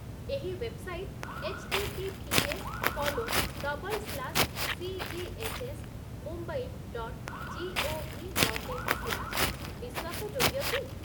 ଏହି website 'H T T P S colon double slash C G H S Mumbai dot G O V dot in slash' ବିଶ୍ୱାସଯୋଗ୍ୟ କି?